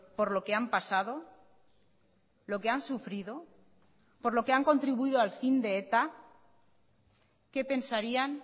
por lo que han pasado lo que han sufrido por lo que han contribuido al fin de eta qué pensarían